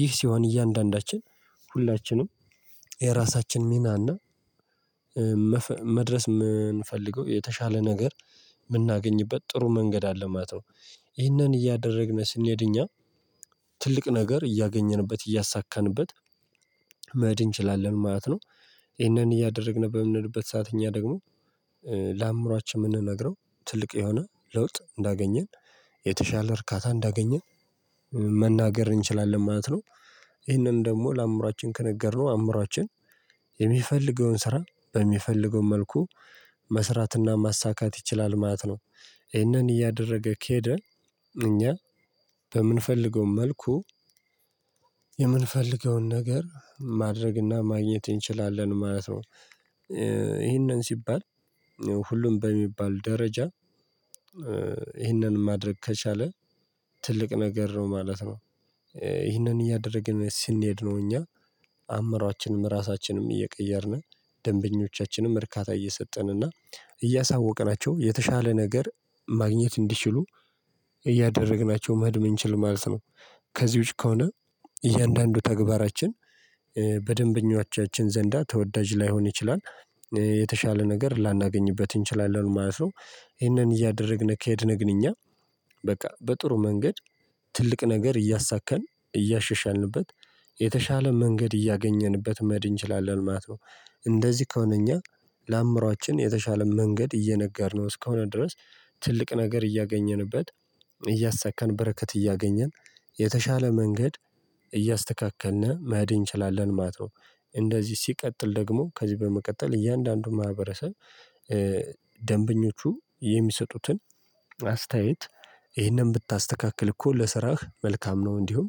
ይህ ሲሆን እያንዳንዳችን ሁላችንም የራሳችን ሚና እና መድረስ የምንፈልገው የተሻለ ነገር ምናገኝበት ጥሩ መንገድ አለ ማለት ነው ይህንን እያደረግን ስንሄድ እኛ ትልቅ ነገር እያገኘንበት እያሳካንበት መሄድ እንችላለን ማለት ነው ይሄንን እያደረግን በምንሄድበት ሰዓት እኛ ደግሞ ለአእምሮአችን ምንነግረው ትልቅ የሆነ ለውጥ እንዳገኘን የተሻለ እርካታ እንዳገኘን መናገር እንችላለን ማለት ነው ይህንን ደግሞ ለአእምሮአችን ከነገርነው አእምሮአችን የሚፈልገውን ስራ በሚፈልገው መልኩ መስራትና ማሳካት ይችላል ማለት ነው ይህንን እያደረገ ከሄደ እኛ በምንፈልገው መልኩ የምንፈልገውን ነገር ማድረግና ማግኘት እንችላለን ማለት ነው ይህንን ሲባል ሁሉም በሚባል ደረጃ ይህንን ማድረግ ከቻለ ትልቅ ነገር ነው ማለት ነው ይህንን እያደረግን ስንሄድ ነው እኛ አዕምሯችንም እራሳችንም እየቀየርን ደንበኞቻችንም እርካታ እየሰጠን እና እያሳወቅናቸው የተሻለ ነገር ማግኘት እንዲችሉ እያደረግናቸው መሄድ ምንችል ማለት ነው ከዚህዎች ውጪ ከሆነ እያንዳንዱ ተግባራችን በደንበኞቻችን ዘንዳ ተወዳጅ ላይሆን ይችላል የተሻለ ነገር ላናገኝበት እንችላለን ማለት ነው ይሄንን እያደረግን ከሄድን ግንኙነት በቃ በጥሩ መንገድ ትልቅ ነገር እያሳካን እያሻሻልንበት የተሻለ መንገድ እያገኘንበት መሄድ እንችላለን ማለት ነው እንደዚህ ከሆነ እኛ ለአዕምሮአችን የተሻለ መንገድ እየነገርነው እስከሆነ ድረስ ትልቅ ነገር እያገኘንበት እያሳካን በረከት እያገኘን የተሻለ መንገድ እያስተካከልን መሄድ እንችላለን ማለት ነው እንደዚህ ሲቀጥል ደግሞ ከዚህ በመቀጠል እያንዳንዱን ማህበረሰብ ደንበኞቹ የሚሰጡትን አስተያየት ይሄንን ብታስተካክል እኮ ለስራህ መልካም ነው እንዲሁም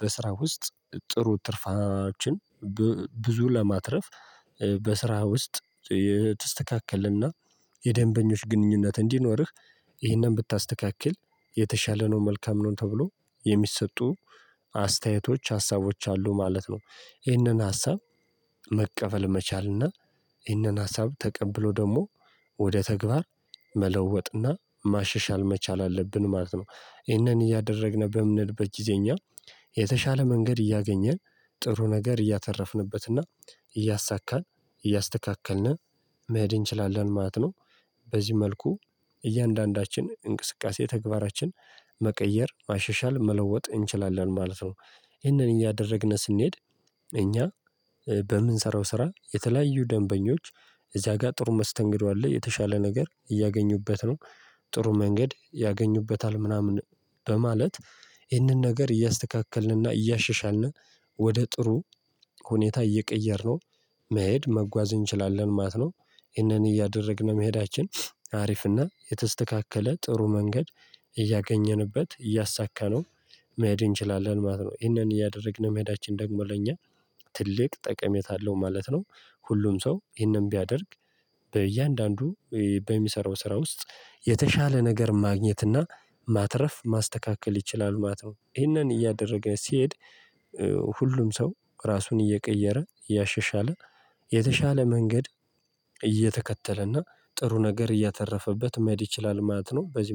በስራ ውስጥ ጥሩ ትርፋችን ብዙ ለማትረፍ በስራ ውስጥ የተስተካከለና የደንበኞች ግንኙነት እንዲኖርህ ይህንን ብታስተካክል የተሻለ ነው መልካም ነው ተብሎ የሚሰጡ አስተያየቶች ሀሳቦች አሉ ማለት ነው ይህንን ሀሳብ መቀበል መቻልና ይህንን ሀሳብ ተቀብሎ ደግሞ ወደ ተግባር መለወጥና ማሻሻል መቻል አለብን ማለት ነው ይህንን እያደረግን በምንሄድበት ጊዜ እኛ የተሻለ መንገድ እያገኘ ጥሩ ነገር እያተረፍንበትና እያሳካን እያስተካከልን መሄድ እንችላለን ማለት ነው በዚህ መልኩ እያንዳንዳችን እንቅስቃሴ ተግባራችን መቀየር ማሻሻል መለወጥ እንችላለን ማለት ነው ይህንን እያደረግን ስንሄድ እኛ በምንሰራው ስራ የተለያዩ ደንበኞች እዚያ ጋር ጥሩ መስተንግዶ አለ የተሻለ ነገር እያገኙበት ነው ጥሩ መንገድ ያገኙበታል ምናምን በማለት ይህንን ነገር እያስተካከልንና እያሻሻልን ወደ ጥሩ ሁኔታ እየቀየርነው መሄድ መጓዝ እንችላለን ማለት ነው ይህንን እያደረግን መሄዳችን አሪፍና የተስተካከለ ጥሩ መንገድ እያገኘንበት እያሳካነው መሄድ እንችላለን ማለት ነው ይሄንን እያደረግን መሄዳችን ደግሞ ለእኛ ትልቅ ጠቀሜታ አለው ማለት ነው ሁሉም ሰው ይሄንን ቢያደርግ በእያንዳንዱ በሚሰራው ስራ ውስጥ የተሻለ ነገር ማግኘትና ማትረፍ ማስተካከል ይችላል ማተው ይህንን እያደረገ ሲሄድ ሁሉም ሰው ራሱን እየቀየረ ያሸሻለ የተሻለ መንገድ እየተከተለና ጥሩ ነገር እያተረፈበት መሄድ ይችላል ማለት ነው በዚህ